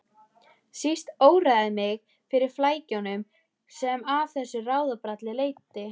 Síst óraði mig fyrir flækjunum sem af þessu ráðabralli leiddi.